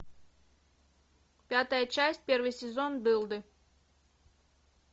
пятая часть первый сезон дылды